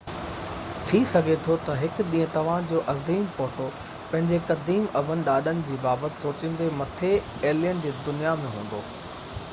ٿي سگهي ٿو هڪ ڏينهن توهان جو عظيم پوٽو پنهنجي قديم ابن ڏاڏن جي بابت سوچيندي مٿي ايلين جي دنيا ۾ هوندو